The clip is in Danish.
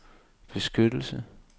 beskyttelse